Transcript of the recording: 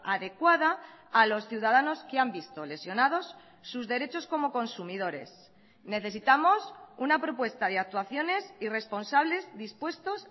adecuada a los ciudadanos que han visto lesionados sus derechos como consumidores necesitamos una propuesta de actuaciones y responsables dispuestos